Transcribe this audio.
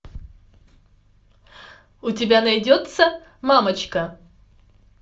у тебя найдется мамочка